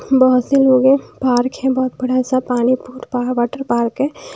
बहुत से लोग हैं पार्क है बहुत बड़ा सा पानी वाटर पार्क है--